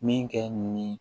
Min kɛ nin